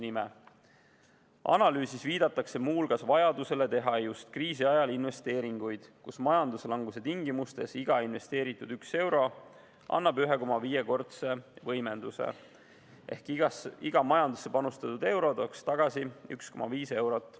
Analüüsis viidatakse muu hulgas vajadusele teha just kriisi ajal investeeringuid, sest majanduslanguse tingimustes annab iga investeeritud 1 euro 1,5-kordse võimenduse ehk iga majandusse panustatud euro tooks tagasi 1,5 eurot.